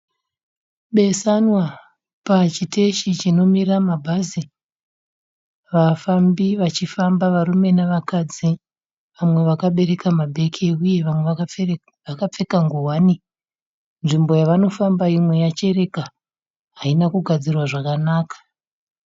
Besanwa pachiteshi chinomira mabhazi, vafambi vachifamba varume nevakadzi vamwe vakabereka mabhegi uye vamwe vakapfeka nguwani. Nzvimbo yavanofamba imwe yachereka haina kugadzirwa zvakanaka.